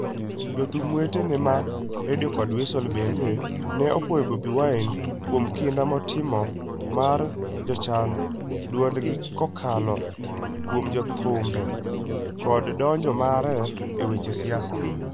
Jothum wetene ma Radio kod Weasel bende ne opuoyo Bobi Wine kuom kinda motimo mar miyo jochan dwondgi kokalo kuom thumbe kod donjo mare e weche siasa: